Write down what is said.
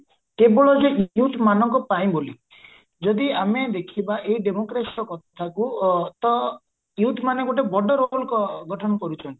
କେବଳ ଯେ youth ମାନଙ୍କ ପାଇଁ ବୋଲି ଯଦି ଆମେ ଦେଖିବା ଏଇ କଥାକୁ ଅ ତ youth ମାନେ ଗୋଟେ ବଡ roll ଗଠନ କରୁଚନ୍ତି